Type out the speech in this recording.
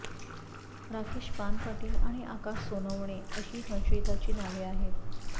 राकेश पानपाटील आणि आकाश सोनवणे अशी संशयितांची नावे आहेत